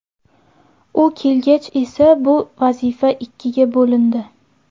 U kelgach esa bu vazifa ikkiga bo‘lindi.